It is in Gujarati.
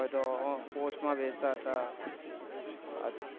અ તો post માં વેહાચતા હતા